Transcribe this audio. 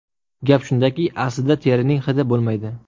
Gap shundaki, aslida terining hidi bo‘lmaydi.